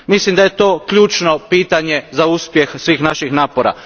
Mislim da je to ključno pitanje za uspjeh svih naših napora.